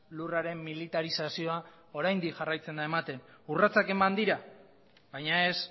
lurraren militarizazioa oraindik jarraitzen da ematen urratsak eman dira baina ez